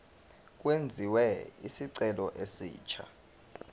kwenziwe isicelo esisha